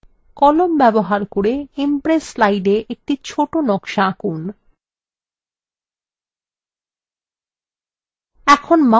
কলম ব্যবহার করে impress slide একটি ছোট নকশা আঁকুন